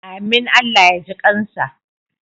Amin Allah ya ji kansa.